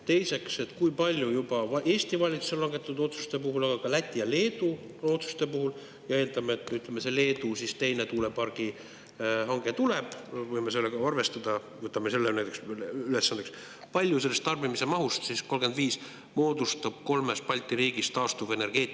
Teiseks, kui palju Eesti valitsuse langetatud otsuste puhul, aga ka Läti ja Leedu otsuste puhul – eeldame, et Leedu teine tuulepargi hange tuleb, võime sellega arvestada, võtame selle näiteks ülesandeks – sellest tarbimise mahust 2035 moodustab kolmes Balti riigis taastuvenergeetika?